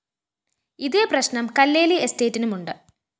ഇതേ പ്രശ്‌നം കല്ലേലി എസ്റ്റേറ്റിനുമുണ്ട്